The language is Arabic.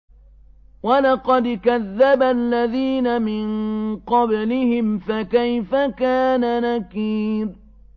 وَلَقَدْ كَذَّبَ الَّذِينَ مِن قَبْلِهِمْ فَكَيْفَ كَانَ نَكِيرِ